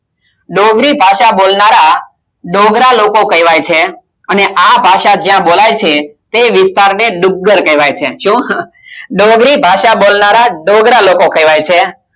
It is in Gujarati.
ડોંગરી ભાષા બોલનાર ડોગરા લોકો કહેવાય છે અને આ ભાષા જ્યાં બોલાય છે તે વિસ્તાર ને ડુંગર કેવાય છે શું ડોંગરી ભાષા બોલનાર ડોગરા લોકો કહેવાય છે